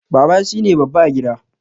Baba shine babba a gida